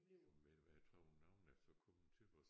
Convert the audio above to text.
Men ved du hvad jeg tror nogen er så kommet til vores